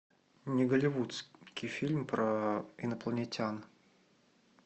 не голливудский фильм про инопланетян